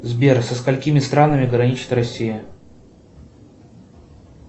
сбер со сколькими странами граничит россия